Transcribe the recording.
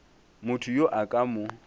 motho yo a ka mo